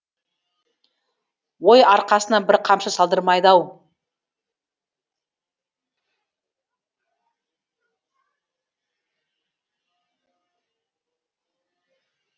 ой арқасына бір қамшы салдырмайды ау